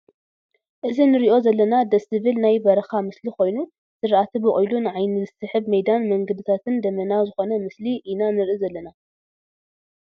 እዚ ንሪኦ ዘለና ደስ ዝብል ናይ ብረካ ምስሊ ኮይኑ ዝራእቲ ቦቂሉ ንዓይኒ ዝስሕብ ሜዳ ን መንገዲታትን ደመና ዝኮነ ምስሊ ኢና ንርኢ ዘለና ።